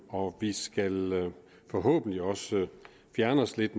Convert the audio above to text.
og vi skal forhåbentlig også fjerne os lidt